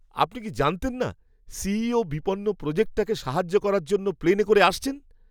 আপনি কি জানতেন না, সিইও বিপন্ন প্রোজেক্টটাকে সাহায্য করার জন্য প্লেনে করে আসছেন?